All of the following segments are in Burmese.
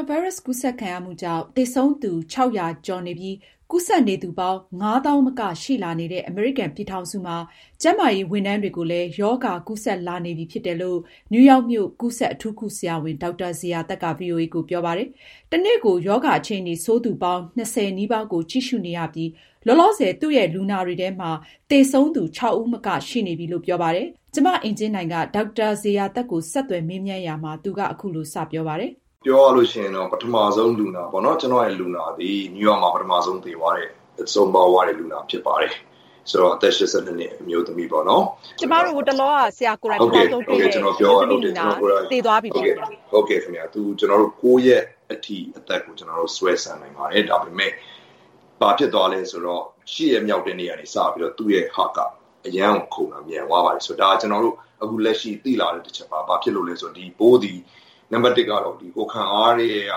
ာဗိုင်းရပ်စ်ကူးစက်ခံရမှုကြောင့် သေဆုံးသူ ၆၀၀ ကျော်နေပြီး ကူးစက်နေသူပေါင်း ၅၀၀၀၀ သောင်းမကရှိလာနေတဲ့ အမေရိကန်ပြည်ထောင်စုမှာ ကျန်းမာရေးဝန်ထမ်းတွေကိုလည်း ရောဂါကူးစက်လာနေပြီ ဖြစ်တယ်လို့ နယူးရောက်မြို့ ကူးစက်အထူးကုဆရာဝန် ဒေါက်တာဇေယျာသက်က ဗွီအိုအေကို ပြောပါတယ်။ မအင်ကြင်းနိုင်က ဆက်သွယ်မေးမြန်းထားတာပါ။ တနေ့ကို ရောဂါအခြေအနေဆိုးနေသူပေါင်း ၂၀ နီးပါးကို ကြည့်ရှုနေရပြီး လောလောဆယ် သူ့ရဲ့ လူနာတွေထဲမှာ သေဆုံးသူ ၆ ဦးမက ရှိနေပြီလို့သူကအခုလို စပြောပါတယ်။ ပြောရရင်တော့ ပထမဦးဆုံး ကျနော့်လူနာသည် နယူးရောက်မြို့မှာ ပထမဦးဆုံး ဆုံးပါးသွားတဲ့ လူနာဖြစ်ပါတယ်။ အသက် ၈၂ နှစ် အမျိုးသမီးပေါ့နော်။ သူ့ကို ကျနော်တို့ အသက် ၉ ရက်အထိ ဆွဲဆန့်နိုင်ခဲ့ပါတယ်။ ဒါပေမယ့် ဘာဖြစ်သွားသလဲဆိုတော့ ၈ ရက်မြောက်ကနေ စပြီးတော့ သူ့ heart ကအရမ်းခုန်တာမြန်သွားပါတယ်။ ဒါက အခုလက်ရှိ ကျနော်တို့ သိလာတဲ့ အချက်ပါ ။ ဒီပိုးက နံပတ် ၁ ကတော့ ကိုယ်ခံအားထဲက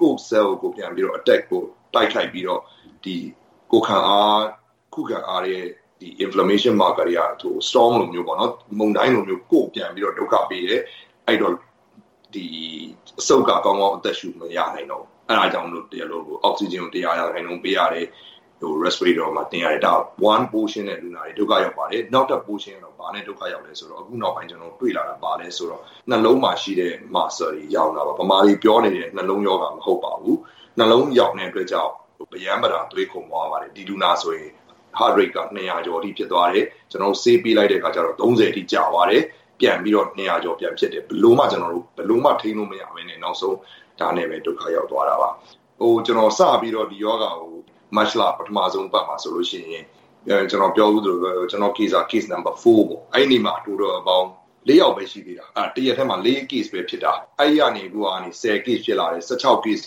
ကိုယ့် cell ကို ပြန်ပြီးတော့ တိုက်ခိုက်ပြီးတော့ကိုယ်ခံအား၊ ခုခံအားတွေက storm မုန်တိုင်းလိုမျိုး ကိုယ့်ကို ပြန်ပြီးတော့ ဒုက္ခပေးတယ် အဲဒီတော့ အဆုတ်က ကောင်းကောင်းပြန်ပြီးတော့ အသက်ရှုမရနိုင်တော့ဘူး။ အဲဒါကြောင့် အောက်ဆီဂျင်ကို ၁၀၀ ရာခိုင်နှုန်းပေးရတယ် အဲဒါ ဒီတနည်းနဲ့ လူနာတွေ ဒုက္ခရောက်ပါတယ်။ နောက်ပြီးတော့ နောက်ထပ် ဘာနဲ့ ဒုက္ခရောက်သလဲဆိုတော့ နှလုံးမှာရှိတဲ့ muscle တွေရောင်တာပါ။ မြန်မာလိုပြောရရင်နှလုံးရောဂါမဟုတ်ပါဘူး။နှလုံးရောင်တဲ့ အတွက်ကြောင့် နှလုံးခုန်တာအရမ်းမြန်ပါတယ် ဒီလူနာဆိုရင် heart rate က ၂၀၀ ကျော်အထိ ဖြစ်သွားတယ်။ ကျနော်တို့ ဆေးပေးလိုက်တဲ့အခါကျတော့ ၃၀ အထိ ကျသွားတယ်။ ပြီးတော့ ၂၀၀ ကျော်ပြန်ဖြစ်တယ်။ အဲဒီတေ့ ကျနော်တို့ ဘယ်လိုမှ ထိန်းလို့မရပဲနဲ့ နောက်ဆုံးဒါနဲ့ပဲ ဒုက္ခရောက်သွားတာပါ။ ကျနော်စပြီးတော့ ဒီရောဂါကို မတ်လ ပထမဦးဆုံးအပတ်မှာဆိုရင် ကျနော်ပြောဖူးသလိုပဲ ကျနော့် case က case number 4 ပေါ့နော် အဲဒီနေ့မှာ အားလုံးပေါင်း ၄ ယောက်ပဲ ရှိသေးတာ ။ တရက်တည်းမှာ 4 case ပဲ ဖြစ်တာ။ အဲဒီကနေ ၁၀ ခုဖြစ်လာတယ် ၁၆ ခု ၊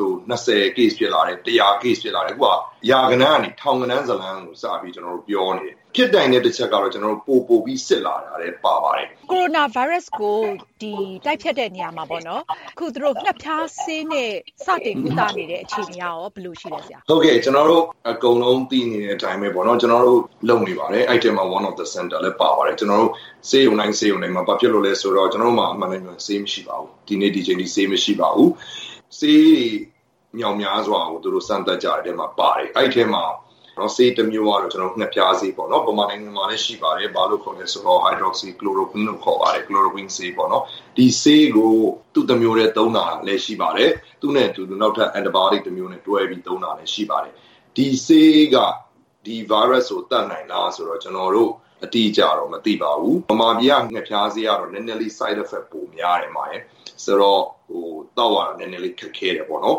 ၂၀ ၊ ၁၀၀ case ဖြစ်လာတယ် ။ အခုက ရာဂဏန်းကနေ ထောင်ဂဏန်းကို စပြီးတော့ ကျနော်တို့ ပြောနေရတယ်။ ဖြစ်နိုင်တဲ့တချက်ကတော့ ကျနော်တို့ ပိုပိုပြီး စစ်လာတာလည်း ပါပါတယ်။ ကိုရိုနာဗိုင်းရပ်စ်ကို တိုက်ဖျက်တဲ့နေရာမှာ သူတို့ ဌက်ဖျားဆေးနဲ့ တိုက်နေတာလည်းရှိတယ် အဲဒါ အခြေအနေ ဘယ်လိုရှိသလဲဆရာ။ ကျနော်တို့ သိနေတဲ့အတိုင်းပဲပေါ့နော် ကျနော်တို့ လုပ်နေပါတယ်။ ကျနော်တို့ ဆေးရုံတိုင်းမှာ ဘာဖြစ်လို့လဲဆိုတော့ အမှန်အတိုင်းပြောရရင် ဆေးမရှိပါဘူး။ ဒီနေ့ ဒီအချိန်အထိ ဆေးမရှိပါဘူး ဆေးတွေ မြောက်များစွာကို စမ်းတဲ့အထဲမှာ ပါတယ် အဲဒါကတော့ ဌက်ဖျားဆေးပေါ့နော် ၊ မြန်မာနိုင်ငံမှာလည်း ရှိပါတယ်။ Hydroxy Chloroquine လို့ခေါ်ပါတယ်။ ဒီဆေးကို သူ့တမျိုးတည်းသုံးတာလည်း ရှိပါတယ်။ သူနဲ့အတူ နောက်ထပ် anti biotic တွဲပြီးတော့ သုံးတာလည်း ရှိပါတယ်။ ဒီဆေးက ဒီ Virus ကို သတ်နိုင်သလားဆိုတော့ ကျနော်တို့ အတိအကျတော့ မသိပါဘူး။ မြန်မာပြည်က ဌက်ဖျားဆေးကတော့ Side effect ပိုများတယ်သောက်ရတာ နည်းနည်း ခက်တယ်ပေါ့နော်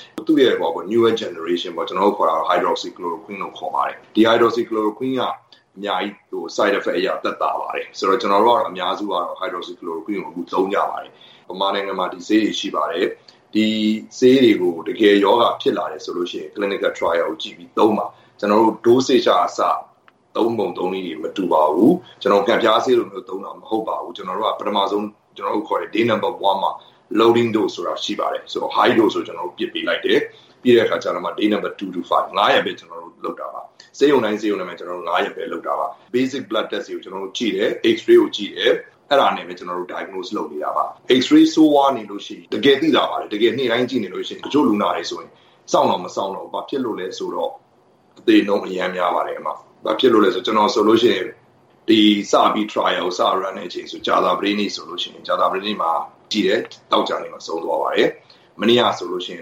။ သူ့ရဲ့ Newer generation ပေါ့ Hydroxy Chloroquine လို့ခေါ်ပါတယ်။ ဒါက အများကြီး Side effect သက်သာတယ်။ ကျနော်တို့ အများစုကတော့ Hydroxy Chloroquine ကို သုံးကြတယ်။ မြန်မာနိုင်ငံမှာ ဒီဆေးတွေရှိပါတယ်။ ဒီဆေးကို တကယ်ရောဂါဖြစ်လာတယ်ဆိုရင် clinical trials ကို ကြည့်ပြီး သုံးပါ။ ကျနော်တို့ dose ကအစ သုံးပုံသုံးနည်း မတူပါဘူး။ ကျနော်တို့ ဌက်ဖျားဆေးလိုမျိုး သုံးတာ မဟုတ်ပါဘူး။ ကျနော်တို့ Day 1 မှာ loading dose ဆိုတာရှိပါတယ်။ ပြီးတော့ Day 2-5 ၊ ဆေးရုံတိုင်းမှာ၅ ရက်ပဲ ကျနော်တို့ လုပ်တာပါ။ Basic blood test တွေကို ကျနော်တို့ကြည့်တယ် ၊ အဲဒါနဲ့ ပဲ ကျနော်တို့ Diagnose လုပ်နေတာပါ။ အရမ်းဆိုးဝါးနေရင် တကယ်သိသာပါတယ်။ တချို့ တကယ်ဆိုးဝါးတယ်ဆိုရင် တချို့လူနာတွေဆိုရင် စောင့်တောင်မစောင့်တော့ဘူး ဘာဖြစ်လို့လဲဆိုတော့ အသေနှုန်းအရမ်းများပါတယ်။ ကျနော်ဆိုရင်trials ကို စပြီး runတဲ့အချိန်ဆိုရင် ကြာသပတေးနေ့ဆိုရင် ကြာသပတေးနေ့မှာ ကြည့်တယ် သောကြာနေ့မှာ ဆုံးသွားပါတယ်။ မနေ့ကဆိုရင်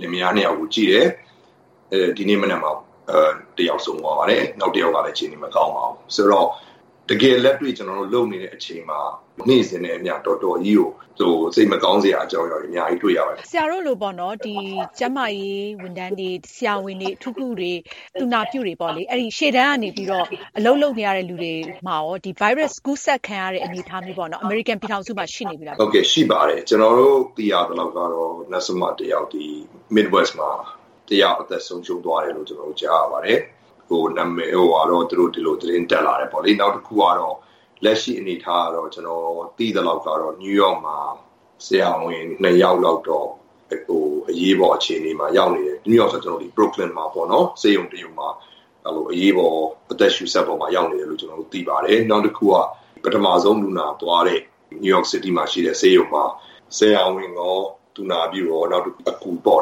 လင်မယား ၂ ယောက်ကို ကြည့်တယ် ဒီမနက် တယောက်ဆုံးသွားတယ် နောက်တယောက်ကလည်း အခြေအနေမကောင်းပါဘူး။ ဆိုတော့ တကယ်လက်တွေ့ ကျနော်တို့ လုပ်နေတဲ့အချိန်မှာ နေ့စဉ် တော်တော်စိတ်မကောင်းစရာအကြောင်းအရာတွေ အများကြီးတွေ့ရပါတယ်။ ဆရာတို့လို ကျန်းမာရေးဝန်ထမ်းတွေ ဆရာဝန်တွေ၊ အထူးကုတွေ ၊ သူနာပြုတွေ ရှေ့တန်းကနေပြီးတော့ အလုပ်လုပ်နေတဲ့လူတွေမှာ ဗိုင်းရပ်စ်ကူးစက်ခံရတဲ့ အနေအထား အမေရိကန်ပြည်ထောင်စုမှာ ရှိနေပြီလား။ ရှိပါတယ် ကျနော်တို့ သိရသလောက်ကတော့ Nurse တယောက် mid-west မှာ အသက်ဆုံးရှုံးသွားတယ်လို့ကြားပါတယ် သတင်းတက်လာတယ်။ နောက်တခုကတော့ လက်ရှိအနေအထားကတော့ ကျနော်သိသလောက် New York မှာ ဆရာဝန် ၂ ယောက်လောက်တော့ အရေးပေါ်အခြေအနေမှာ ရောက်နေတယ်။ Brooklyn မှာ အရေးပေါ် အသက်ရှုစက်ပေါ်မှာ ရောက်နေတယ်လို့ သိရတယ်။ နောက်တခုက ပထမဦးဆုံး လူနာသွားတဲ့ New York city မှာရှိတဲ့ ဆေးရုံက ဆရာဝန်ရော၊ သူနာပြုရော ၊ အကူရော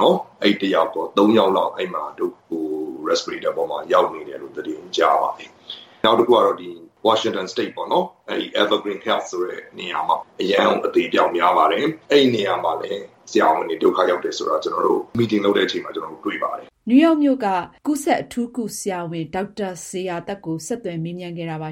၃ ယောက်လောက် အသက်ရှုစက်ပေါ်မှာ ရောက်နေတယ်လို့ သတင်းကြားရတယ်။ နောက် Washington State ၊ EverygreenHealth ဆိုတဲ့နေရာမှာ အရမ်းအသေအပျောက်များတယ်။ အဲဒီနေရာမှာလည်း ဆရာဝန်တွေ ဒုက္ခရောက်တယ်ဆိုတာ ကျနော်တို့ meeting လုပ်တဲ့အချိန်မှာ ကျနော်တို့ တွေ့ပါတယ်။ နယူးရောက်မြို့ ကူးစက်အထူးကုဆရာဝန် ဒေါက်တာဇေယျာသက်က ို မအင်ကြင်းနိုင်က ဆက်သွယ်မေးမြန်းခဲ့တာပါ